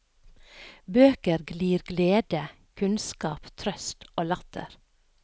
Bøker glir glede, kunnskap, trøst, latter.